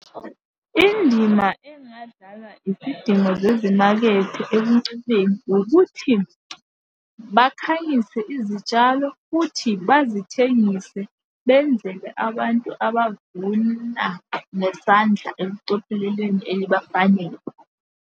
Indima engadlalwa izidingo zezimakethe ekuncumeni ukuthi, bakhangise izitshalo, futhi bazithengise benzele abantu abavuna ngesandla ekucopheleleni elibafanele.